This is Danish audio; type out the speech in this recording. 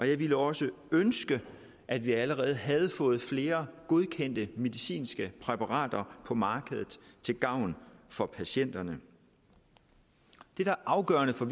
jeg ville også ønske at vi allerede havde fået flere godkendte medicinske præparater på markedet til gavn for patienterne det der er afgørende for